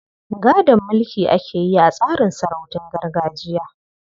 Gadon mulki ake yi a tsarin sarautun gargajiya.